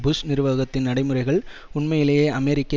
push நிர்வாகத்தின் நடைமுறைகள் உண்மையிலேயே அமெரிக்க